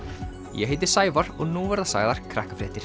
ég heiti Sævar og nú verða sagðar